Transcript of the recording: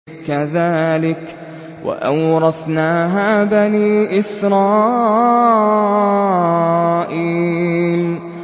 كَذَٰلِكَ وَأَوْرَثْنَاهَا بَنِي إِسْرَائِيلَ